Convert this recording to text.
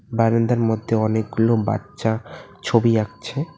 বারাইন্দার মধ্যে অনেকগুলো বাচ্চা ছবি আঁকছে।